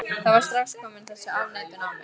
Það var strax komin þessi afneitun á mig.